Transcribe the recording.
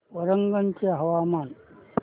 वरंगल चे हवामान